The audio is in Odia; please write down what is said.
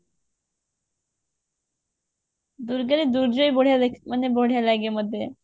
ଦୁର୍ଗାରେ ଦୂର୍ଗା ବି ବଢିଆ ଦେଖା ମାନେ ବଢିଆ ଲାଗେ ମତେ